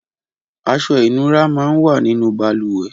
Aṣọ inúrà mà n wà ninú bàlùwẹ̀